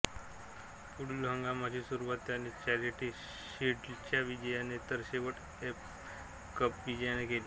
पुढील हंगामाची सुरूवात त्याने चॅरिटी शील्डच्या विजयाने तर शेवट फ ए कप विजयाने केला